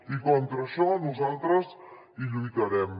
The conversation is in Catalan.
i contra això nosaltres hi lluitarem